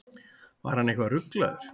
Var hann eitthvað ruglaður?